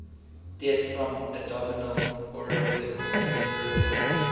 deaths from abdominal aortic aneurysm